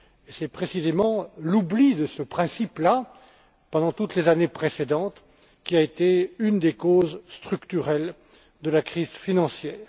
C'est précisément l'oubli de ce principe là, pendant toutes les années précédentes, qui a été une des causes structurelles de la crise financière.